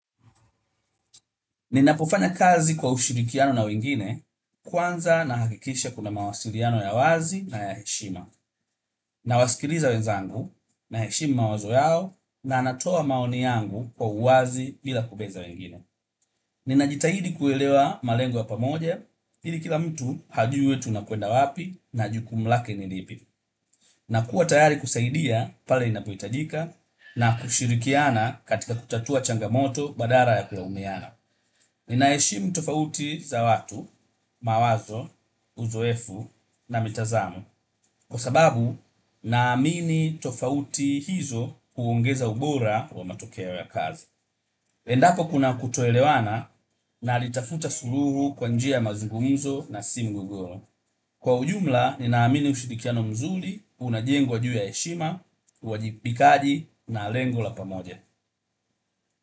Ninapofanya kazi kwa ushirikiano na wengine kwanza nahakikisha kuna mawasiliano ya wazi na ya heshima. Nawasikiliza wenzangu naheshimu mawazo yao na natoa maoni yangu kwa uwazi bila kupeza wengine. Ninajitahidi kuelewa malengo ya pamoja, ili kila mtu hajue tunakwenda wapi na jukumu lake ni lipi. Nakuwa tayari kusaidia pale inapohitajika na kushirikiana katika kutatua changamoto badala ya kulaumiana. Ninaheshimu tofauti za watu, mawazo, uzoefu na mitazamo kwa sababu, naamini tofauti hizo huongeza ubora wa matokeo ya kazi. Endapo kuna kutoelewana, nalitafuta suluhu kwa njia ya mazungumzo na si mgogoro. Kwa ujumla ninaamini ushirikiano mzuri unajengwa juu ya heshima, uwajibikaji na lengo la pamoja.